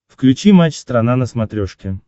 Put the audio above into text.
включи матч страна на смотрешке